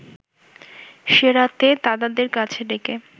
সে রাতে দাদাদের কাছে ডেকে